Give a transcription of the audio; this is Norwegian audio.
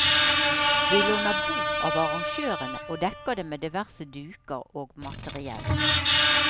Vi låner bord av arrangørene, og dekker det med diverse duker og materiell.